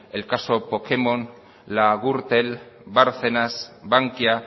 el caso pokémon la gürtel bárcenas bankia